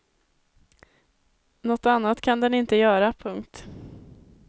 Något annat kan den inte göra. punkt